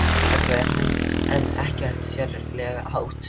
kallaði hann en ekkert sérlega hátt.